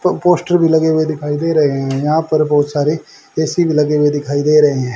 प पोस्टर भी लगे हुए दिखाई दे रहे हैं यहां पर बहुत सारे ए_सी भी लगे हुए दिखाई दे रहे है।